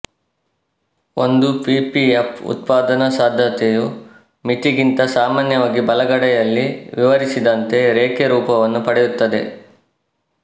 ಒಂದು ಪಿಪಿಎಫ್ ಉತ್ಪಾದನಾ ಸಾಧ್ಯತೆಯು ಮಿತಿಗಿಂತ ಸಾಮಾನ್ಯವಾಗಿ ಬಲಗಡೆಯಲ್ಲಿ ವಿವರಿಸಿದಂತೆ ರೇಖೆ ರೂಪವನ್ನು ಪಡೆಯುತ್ತದೆ